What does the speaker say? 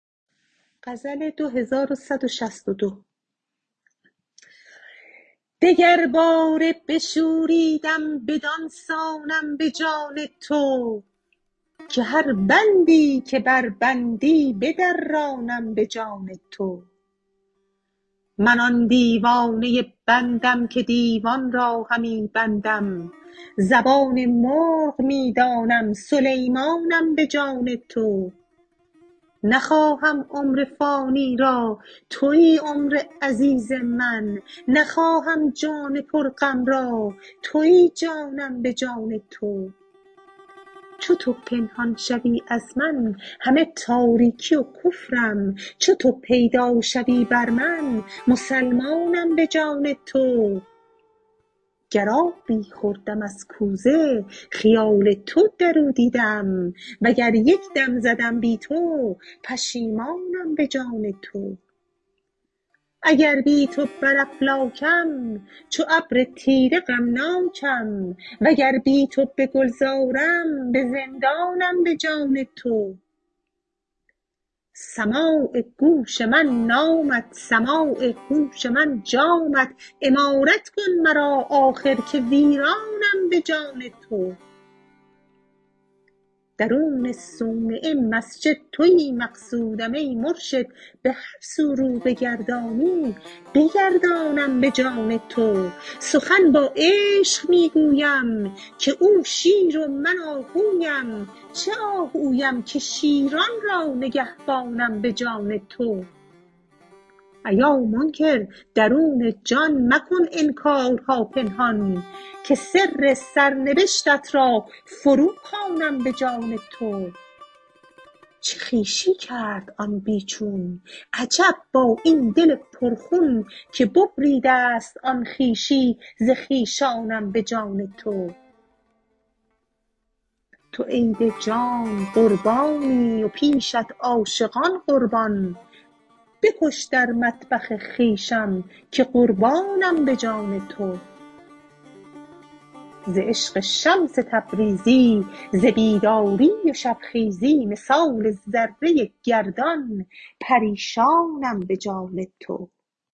دگرباره بشوریدم بدان سانم به جان تو که هر بندی که بربندی بدرانم به جان تو من آن دیوانه بندم که دیوان را همی بندم زبان مرغ می دانم سلیمانم به جان تو نخواهم عمر فانی را توی عمر عزیز من نخواهم جان پرغم را توی جانم به جان تو چو تو پنهان شوی از من همه تاریکی و کفرم چو تو پیدا شوی بر من مسلمانم به جان تو گر آبی خوردم از کوزه خیال تو در او دیدم وگر یک دم زدم بی تو پشیمانم به جان تو اگر بی تو بر افلاکم چو ابر تیره غمناکم وگر بی تو به گلزارم به زندانم به جان تو سماع گوش من نامت سماع هوش من جامت عمارت کن مرا آخر که ویرانم به جان تو درون صومعه و مسجد توی مقصودم ای مرشد به هر سو رو بگردانی بگردانم به جان تو سخن با عشق می گویم که او شیر و من آهویم چه آهویم که شیران را نگهبانم به جان تو ایا منکر درون جان مکن انکارها پنهان که سر سرنبشتت را فروخوانم به جان تو چه خویشی کرد آن بی چون عجب با این دل پرخون که ببریده ست آن خویشی ز خویشانم به جان تو تو عید جان قربانی و پیشت عاشقان قربان بکش در مطبخ خویشم که قربانم به جان تو ز عشق شمس تبریزی ز بیداری و شبخیزی مثال ذره گردان پریشانم به جان تو